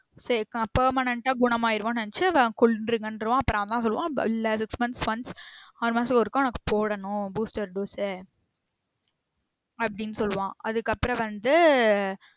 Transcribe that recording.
சேரி இப்போ நா permanent ஆ குனமாயிடுவோம்னு நெனச்சு கொன்றுங்கன்றுவான் அப்ரோ அவன் தான் சொல்லுவான் இல்ல six months once ஆறுமாசத்துக்கு ஒருக்கா உனக்கு போடணும் booster dose ஆ அப்டின்னு சொல்லுவான் அதுக்கு அப்ரோ வந்து